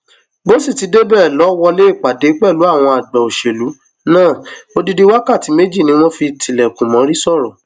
bó sì ti débẹ lọ wọlé ìpàdé pẹlú àgbà òṣèlú náà odidi wákàtí méjì ni wọn fi tilẹkùn mórí sọrọ